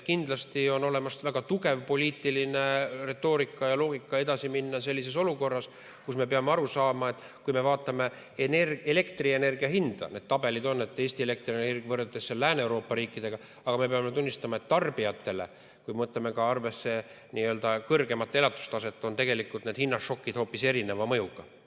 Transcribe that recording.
Kindlasti on olemas väga tugev poliitiline retoorika ja loogika, et edasi minna sellises olukorras, kus me peame aru saama, et kui me vaatame elektrienergia hinda – need tabelid on olemas, Eesti elektriturg võrreldes Lääne-Euroopa riikide turuga –, siis me peame tunnistama, et tarbijatele, kui me võtame ka arvesse kõrgemat elatustaset, on need hinnašokid hoopis erineva mõjuga.